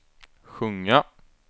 sjunga